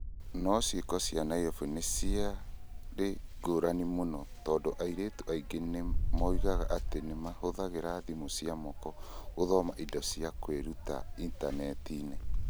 No ciiko cia Nairobi nĩ ciarĩ ngũrani mũno, tondũ airĩtu aingĩ nĩ moigaga atĩ nĩ mahũthagĩra thimũ cia moko gũthoma indo cia kwĩruta ĩntaneti-inĩ.